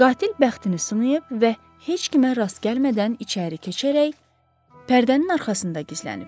Qatil bəxtini sınayıb və heç kimə rast gəlmədən içəri keçərək pərdənin arxasında gizlənib.